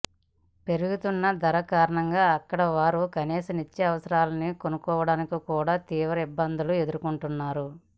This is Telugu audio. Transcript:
పెరుగుతున్న ధరల కారణంగా అక్కడివారు కనీస నిత్యావసరాల్ని కొనుక్కోవడానికి కూడా తీవ్ర ఇబ్బందులు ఎదుర్కొంటున్నారు